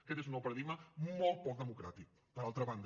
aquest és un nou paradigma molt poc democràtic per altra banda